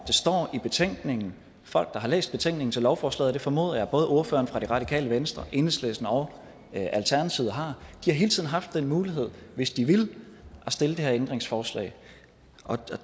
det står i betænkningen folk der har læst betænkningen til lovforslaget og det formoder jeg både ordføreren fra det radikale venstre enhedslisten og alternativet har har hele tiden haft den mulighed hvis de ville at stille det her ændringsforslag